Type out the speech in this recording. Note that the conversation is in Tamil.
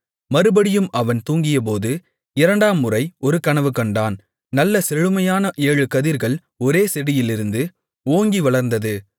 மறுபடியும் அவன் தூங்கியபோது இரண்டாம் முறை ஒரு கனவு கண்டான் நல்ல செழுமையான ஏழு கதிர்கள் ஒரே செடியிலிருந்து ஓங்கி வளர்ந்தது